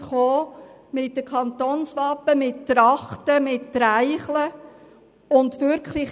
Sie nahmen Kantonswappen, Trachten und Treicheln mit.